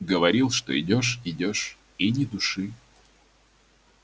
говорил что идёшь идёшь и ни души